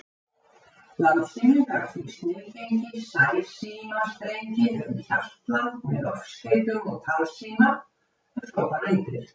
Landsíminn gat því sniðgengið sæsímastrenginn um Hjaltland með loftskeytum og talsíma, ef svo bar undir.